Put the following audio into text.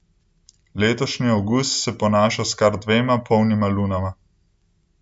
Letošnji avgust se ponaša s kar dvema polnima lunama.